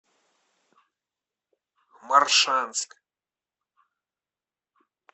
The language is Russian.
моршанск